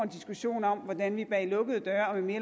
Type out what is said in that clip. diskussion om hvordan vi bag lukkede døre og med